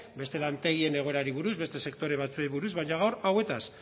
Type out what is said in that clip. beste lantegien egoerari buruz beste sektore batzuei buruz baina gaur hauetaz